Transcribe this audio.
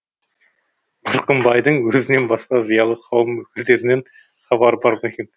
мырқымбайдың өзінен басқа зиялы қауым өкілдерінен хабары бар ма екен